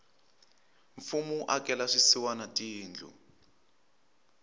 mfumo wu akela swisiwana tindlu